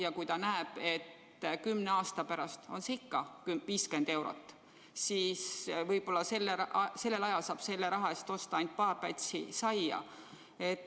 Ja võib-olla tuleb välja, et ka kümne aasta pärast on see summa ikka 50 eurot ja selle eest saab osta ainult paar pätsi saia.